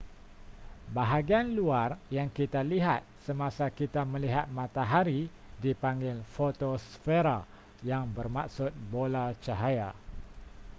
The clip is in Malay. bahagian luar yang kita lihat semasa kita melihat matahari dipanggil fotosfera yang bermaksud bola cahaya